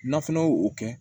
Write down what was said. N'a fana y'o o kɛ